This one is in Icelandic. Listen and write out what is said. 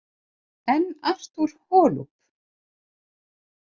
En Artur Holub?